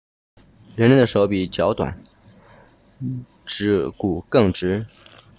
人类的手比脚短指趾骨更直